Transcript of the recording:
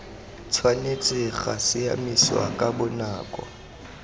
tshwanetse ga siamisiwa ka bonako